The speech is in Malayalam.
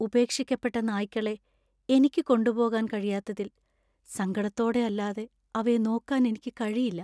ഉപേക്ഷിക്കപ്പെട്ട നായ്ക്കളെ എനിക്ക് കൊണ്ടുപോകാൻ കഴിയാത്തതിൽ സങ്കടത്തോടെ അല്ലാതെ അവയെ നോക്കാൻ എനിക്ക് കഴിയില്ല.